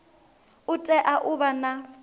u tea u vha na